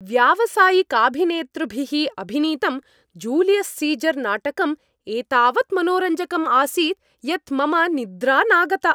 व्यावसायिकाभिनेतृभिः अभिनीतं Julius Caesar नाटकम् एतावत् मनोरञ्जकम् आसीत् यत् मम निद्रा नागता।